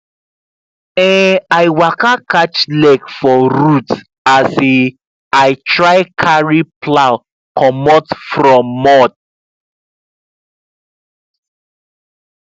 um i waka catch leg for root as um i try carry plow comot from mud